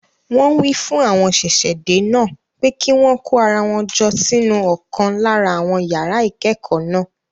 Wọn wí fún àwọn ṣẹ̀ṣẹ̀-dé náà pé kí wọn kó ara jọ pọ̀ sínú ọ̀kan lára àwọn yàrá ìkẹ́kọ̀ọ́ náà.